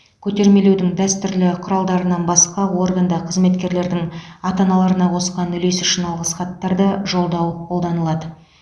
көтермелеудің дәстүрлі құралдарынан басқа органда қызметкерлердің ата аналарына қосқан үлесі үшін алғыс хаттарды жолдау қолданылады